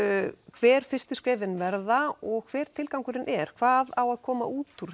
hver fyrstu skrefin verða og hver tilgangurinn er hvað á að koma útúr